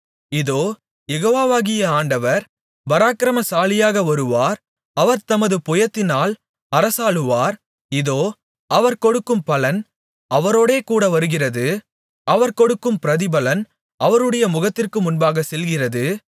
இதோ யெகோவாவாகிய ஆண்டவர் பராக்கிரமசாலியாக வருவார் அவர் தமது புயத்தினால் அரசாளுவார் இதோ அவர் கொடுக்கும் பலன் அவரோடேகூட வருகிறது அவர் கொடுக்கும் பிரதிபலன் அவருடைய முகத்திற்கு முன்பாகச் செல்கிறது